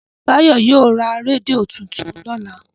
Tayo yio rà rédíò títún lọla.